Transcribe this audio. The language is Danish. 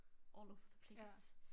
All over the place